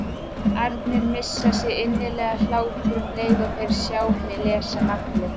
arnir missa sig í innilegan hlátur um leið og þeir sjá mig lesa nafnið.